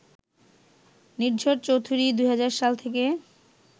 নির্ঝর চৌধুরী ২০০০ সাল থেকে